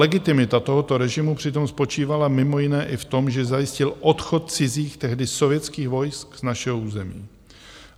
Legitimita tohoto režimu přitom spočívala mimo jiné i v tom, že zajistil odchod cizích, tehdy sovětských, vojsk z našeho území.